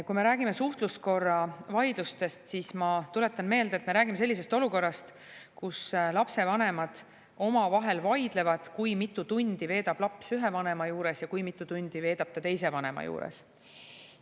Kui me räägime suhtluskorra vaidlustest, siis ma tuletan meelde, et me räägime sellisest olukorrast, kus lapsevanemad omavahel vaidlevad, kui mitu tundi veedab laps ühe vanema juures ja kui mitu tundi veedab ta teise vanema juures.